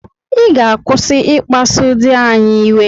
Ị ga-akwụsị ịkpasu di anyị iwe.